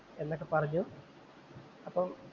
എന്നൊക്കെ പറഞ്ഞു. അപ്പൊ